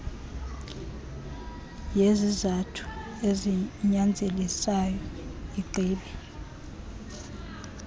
yezizathu ezinyanzelisayo igqibe